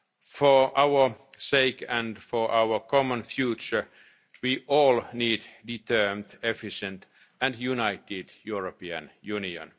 and the generations to come. For our sake and for our common future, we all need a determined, efficient